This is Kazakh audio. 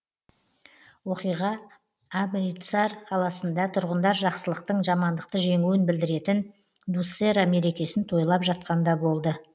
оқиға амритсар қаласында тұрғындар жақсылықтың жамандықты жеңуін білдіретін дуссера мерекесін тойлап жатқанда болды